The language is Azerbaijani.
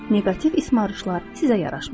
Neqativ ismarışlar sizə yaraşmır.